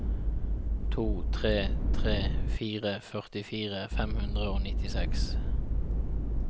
to tre tre fire førtifire fem hundre og nittiseks